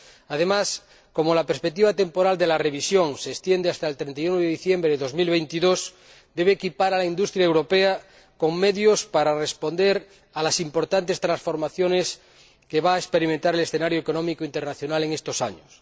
Además, como la perspectiva temporal de la revisión se extiende hasta el 31 de diciembre de 2022, deben equipar a la industria europea con medios para responder a las importantes transformaciones que va a experimentar el escenario económico internacional en estos años.